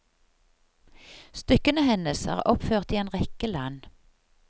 Stykkene hennes er oppført i en rekke land.